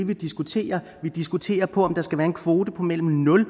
vi diskuterer vi diskuterer om der skal være en kvote på mellem nul og